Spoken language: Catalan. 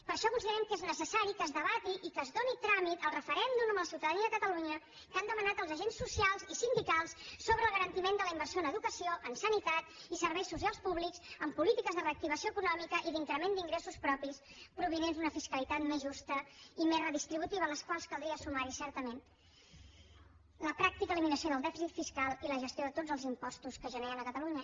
per això considerem que és necessari que es debati i que es doni tràmit al referèndum amb la ciutadania de catalunya que han demanat els agents socials i sindicals sobre el garantiment de la inversió en educació en sanitat i serveis socials públics en polítiques de reactivació econòmica i d’increment d’ingressos propis provinents d’una fiscalitat més justa i més redistributiva a les quals caldria sumar certament la pràctica eliminació del dèficit fiscal i la gestió de tots els impostos que es generen a catalunya